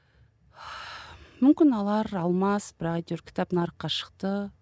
мүмкін алар алмас бірақ әйтеуір кітап нарыққа шықты